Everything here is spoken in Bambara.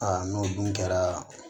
n'o dun kɛra